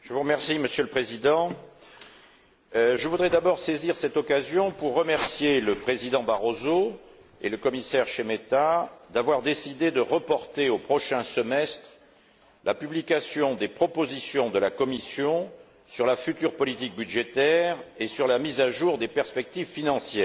Monsieur le Président, je voudrais d'abord saisir cette occasion pour remercier le président Barroso et le commissaire Šemeta d'avoir décidé de reporter au prochain semestre la publication des propositions de la Commission sur la future politique budgétaire et sur la mise à jour des perspectives financières.